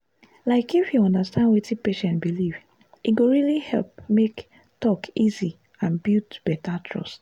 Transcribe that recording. like if you understand wetin patient believe e go really help make talk easy and build better trust.